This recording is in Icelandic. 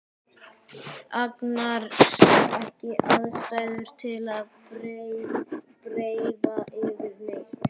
Agnar sá ekki ástæðu til að breiða yfir neitt.